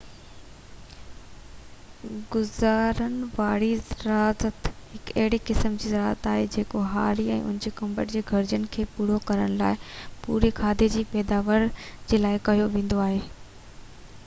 گذران واري زراعت هڪ اهڙي قسم جي زراعت آهي جيڪو هاري ۽ هن جي ڪٽنب جي گهرجن کي پورو ڪرڻ لاءِ پوري کاڌي جي پيداوار جي لاءِ ڪيو ويندو آهي